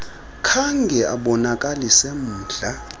khange abonakalise mdla